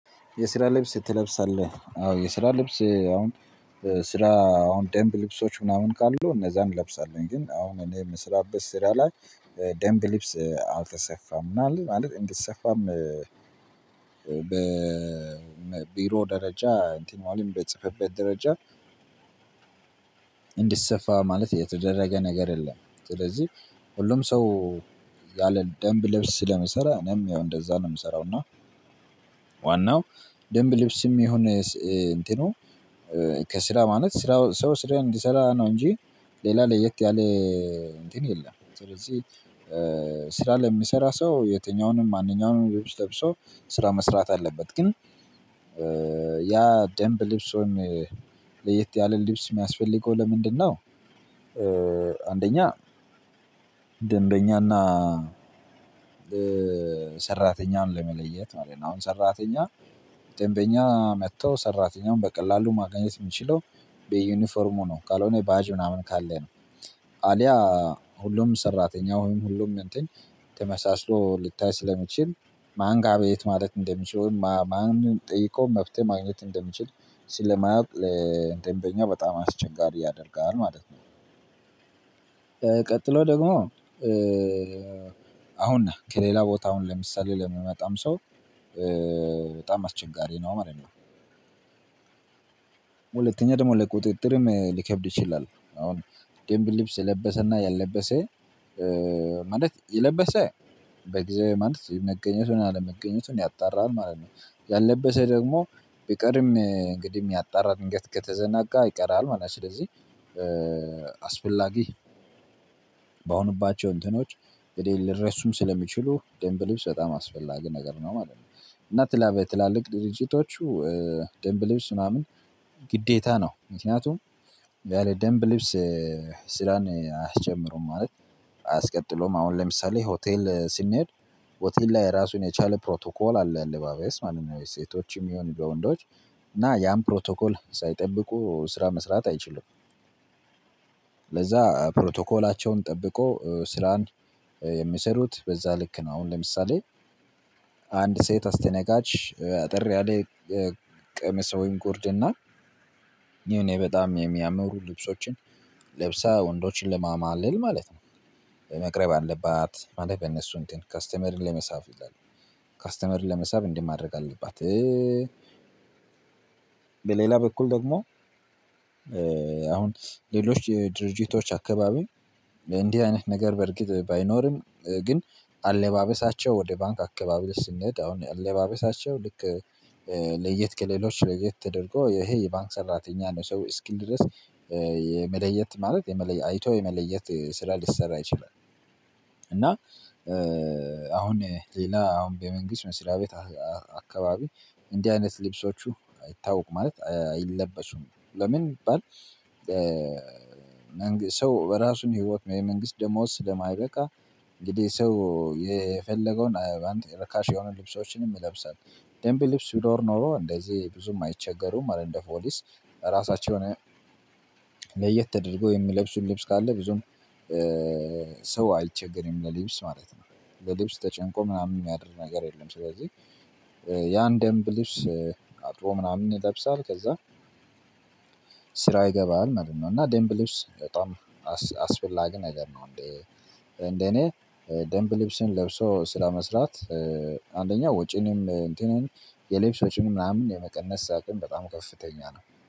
የስራ ልብስ ትለብሳለህ? አዎ የስራ ልብስ አሁን ስራ አሁን ደንብ ልብሶች ምናምን ካሉ እነዛን እለብሳለሁኝ። ግን አሁን እኔ የምስራበት ስራ ላይ ደምብ ሊብስ አልተሰፋም ምናምን ማለት እንድሰፋም በቢሮ ደረጃ እንትን ማለት በጽፈበት ደረጃ እንዲሰፋ ማለት የተደረገ ነገር የለም። ስለዚህ ሁሉም ሰው ያለ ደንብ ልብስ ስለመሰራት እኔም ያው እንደዛ ነው የምሰራው። እና ዋናው ደንብ ልብስም የሆነ እንትኑ ከስራ ማለት ስራ ሰው ስራ እንዲሰራ ነው እንጂ ሌላ ለየት ያለ እንትን የለም። ስለዚህ ስራ ለሚሰራ ሰው የትኛውንም ማንኛውንም ብዙ ለብሶ ስራ መስራት አለበት። ግን ያ ደምብ ልብሶን ለየት ያለ ልብስ የሚያስፈልገው ለምንድነው? አንደኛ ደንበኛና ሰራተኛን ለመለየት አለኝ አሁን ሰራተኛ ደንበኛ መጥተው ሰራተኛውን በቀላሉ ማግኘት የምችለው በዩኒፎርሙ ነው። ካልሆነ ባጅ ምናምን ካለ ነው። አሊያ ሁሉም ሰራተኛ ወይም ሁሉም እንትን ተመሳስሎ ልታይ ስለምችል ማን ጋር አቤት ማለት እንደምችል ወይም ማንን ጠይቆ መፍትሄ ማግኘት እንደምችል ስለማያውቅ ለደንበኛ በጣም አስቸጋሪ ያደርጋል ማለት ነው። ቀጥሎ ደግሞ አሁን ነህ ከሌላ ቦታ አሁን ለምሳሌ ለሚመጣም ሰው በጣም አስቸጋሪ ነው። ማለነው ሁለተኛ ደግሞ ለቁጥጥርም ሊከብድ ይችላል አሁን ደንብ ልብስ የለበሰና ያልለበሰ ማለት የለበሰ በጊዜው ማለት መገኘቱን አለመገኘቱን ያጣራል ማለት ነው። ያለበሰ ደግሞ ቢቀርም እንግዲህ ያጣራል እንግዲህ ከተዘናጋ ይቀራል ማለት ነው። ስለዚህ አስፈላጊ በሆንባቸው እንትኖች የሌለ ልረስም ስለሚችሉ ደንብ ልብስ በጣም አስፈላጊ ነገር ነው ማለት ነው። እና ትላበት ትላልቅ ድርጅቶቹ ደንብ ልብስ ምናምን ግዴታ ነው። ምክንያቱም ያለ ደንብ ልብስ ስራን አያስጀምሩም ማለት አያስቀጥለውም። አሁን ለምሳሌ ሆቴል ስንሄድ ሆቴል ላይ ራሱን የቻለ ፕሮቶኮል አለ አለባበስ ማንኛውም ሴቶችም ይሁን ወንዶች እና ያን ፕሮቶኮል ሳይጠብቁ ስራ መስራት አይችሉም። ለዛ ፕሮቶኮላቸውን ጠብቆ ስራን የሚሰሩት በዛ ልክ ነው። አሁን ለምሳሌ አንድ ሴት አስተነጋጅ አጠር ያለ ቀሚስ ወይም ጎርድና የሆኔ በጣም የሚያምሩ ልብሶችን ለብሰህ ወንዶችን ለማማለል ማለት ነው መቅረብ አለባት። ማለት በእነሱ እንትን ከስተመርን ለመሳብ ይላሉ ከስተመርን ለመሳብ እንዲህ ማድረግ አለባት። በሌላ በኩል ደግሞ አሁን ሌሎች የድርጅቶች አካባቢ እንዲህ አይነት ነገር በእርግጥ ባይኖርም ግን አለባበሳቸው ወደ ባንክ አካባቢ ስንሄድ አሁን አለባበሳቸው ልክ ለየት ከሌሎች ለየት ተደርጎ ይሄ የባንክ ሰራተኛ ነው። ሰው እስክንድረስ የመለየት ማለት አይቶ የመለየት ስራ ሊሰራ ይችላል። እና አሁን ሌላ አሁን በመንግስት መስሪያ ቤት አካባቢ እንዲህ አይነት ልብሶቹ አይታወቁም ማለት አይለበሱም። ለምን ቢባል ሰው በራሱን ህይወት የመንግስት ደሞዝ ስለማይበቃ እንግዲህ ሰው የፈለገውን አንድ ረካሽ የሆኑ ልብሶችንም ይለብሳል። ደንቢ ልብስ ቢኖር ኖሮ እንደዚህ ብዙም አይቸገሩም ማለ እንደ ፖሊስ ራሳቸውን ለየት ተደርጎ የሚለብሱን ልብስ ካለ ብዙም ሰው አይቸገርም ለልብስ ማለት ነው። ለልብስ ተጨንቆ ምናምን የሚያደርግ ነገር የለም። ስለዚህ ያን ደንብ ልብስ አጥቦ ምናምን ይለብሳል ከዛ ስራ ይገባል። ማለነው እና ደምብ ልብስ በጣም አስፈላጊ ነገር ነው። እንዴ እንደኔ ደምብ ልብስን ለብሶ ስራ መስራት አንደኛ ወጪንም እንትንም የልብስ ወጪን ምናምን የመቀነስ አቅም በጣም ከፍተኛ ነው